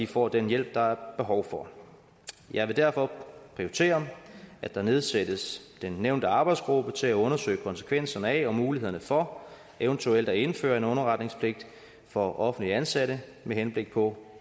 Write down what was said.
får den hjælp der er behov for jeg vil derfor prioritere at der nedsættes den nævnte arbejdsgruppe til at undersøge konsekvenserne af og mulighederne for eventuelt at indføre en underretningspligt for offentligt ansatte med henblik på